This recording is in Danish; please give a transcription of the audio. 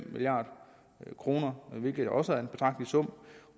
milliard kr hvilket jo også er en betragtelig sum